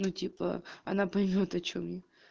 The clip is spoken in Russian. ну типа она поймёт о чем я